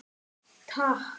Takk